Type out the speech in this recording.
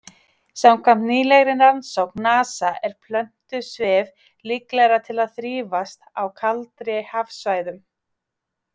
Samkvæmt nýlegri rannsókn NASA er plöntusvif líklegra til að þrífast á kaldari hafsvæðum.